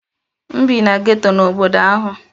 M bi na geto n'obodo ahụ.